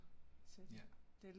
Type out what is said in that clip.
Ja